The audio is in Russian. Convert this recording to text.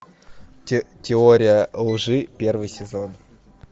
теория лжи первый сезон